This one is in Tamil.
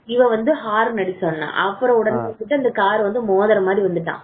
இவன் வந்த ஹாரன் அடிச்சிட்டு வந்தான் லைட் அடிச்சது தெரியாம வந்துட்டான்.